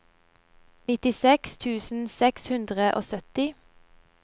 nittiseks tusen seks hundre og sytti